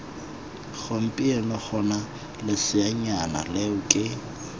gompieno gona leseanyana leo ke